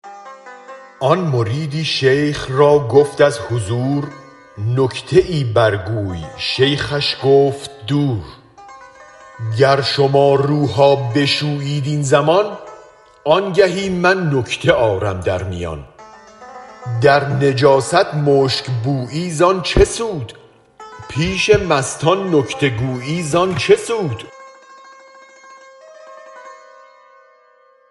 آن مریدی شیخ را گفت از حضور نکته ای برگوی شیخش گفت دور گر شما روها بشویید این زمان آنگهی من نکته آرم در میان در نجاست مشک بویی زان چه سود پیش مستان نکته گویی زان چه سود